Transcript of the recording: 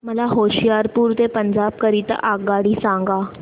मला होशियारपुर ते पंजाब करीता आगगाडी सांगा